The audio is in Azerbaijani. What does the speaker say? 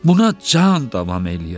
Buna can davam eləyər.